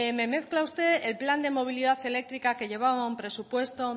me mezcla usted el plan de movilidad eléctrica que llevaba un presupuesto